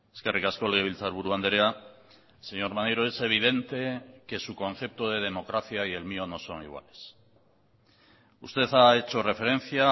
eskerrik asko legebiltzarburu andrea señor maneiro es evidente que su concepto de democracia y el mío no son iguales usted ha hecho referencia a